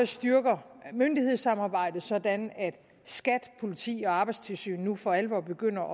styrker myndighedssamarbejdet sådan at skat politiet og arbejdstilsynet nu for alvor begynder